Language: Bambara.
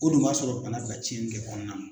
O dun b'a sɔrɔ bana ka tiɲɛ kɛ kɔnɔna na.